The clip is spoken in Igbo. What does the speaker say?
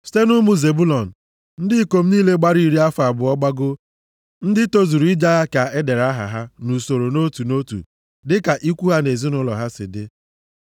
Site nʼụmụ Zebụlọn, ndị ikom niile gbara iri afọ abụọ gbagoo, ndị tozuru ije agha ka e dere aha ha nʼusoro nʼotu nʼotu dịka ikwu ha na ezinaụlọ ha si dị.